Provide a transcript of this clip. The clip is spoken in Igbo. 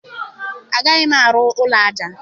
Agaghị m arụ ụlọ aja.